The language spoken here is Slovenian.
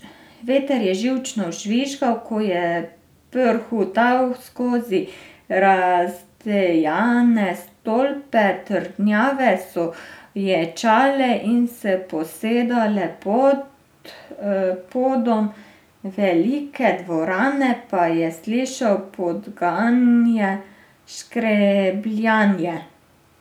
Veter je živčno žvižgal, ko je prhutal skozi razdejane stolpe, trdnjave so ječale in se posedale, pod podom velike dvorane pa je slišal podganje škrebljanje.